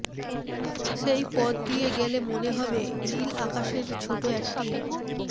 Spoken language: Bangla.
সেই পথ দিয়ে গেলে মনে হবে নীল আকাশের ছোট একটি